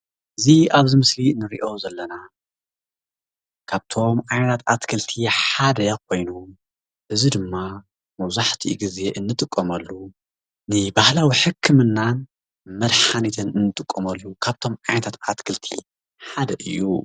እዚ ኣብዚ ምስሊ ንሪኦ ዘለና ካብቶም ዓይነታት ኣትክልቲ ሓደ ኮይኑ እዚ ድማ መብዛሕትኡ ግዜ እንጥቀመሉ ንባህላዊ ሕክምናን መድሓኒትን ንጥቀመሉ ካብቶም ዓይነታት ኣትክልቲ ሓደ እዩ፡፡